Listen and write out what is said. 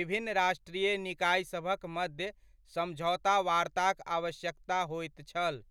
विभिन्न राष्ट्रीय निकायसभक मध्य समझौता वार्ताक आवश्यकता होयत छल।